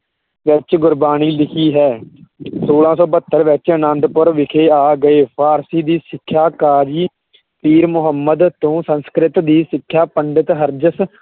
ਵਿੱਚ ਗੁਰਬਾਣੀ ਲਿਖੀ ਹੈ ਛੋਲਾਂ ਸੌ ਬਹੱਤਰ ਵਿੱਚ ਆਨੰਦਪੁਰ ਵਿਖੇ ਆ ਗਏ, ਫਾਰਸੀ ਦੀ ਸਿੱਖਿਆ ਕਾਜ਼ੀ ਪੀਰ ਮੁਹੰਮਦ ਤੋਂ, ਸੰਸਕ੍ਰਿਤ ਦੀ ਸਿੱਖਿਆ ਪੰਡਿਤ ਹਰਜਸ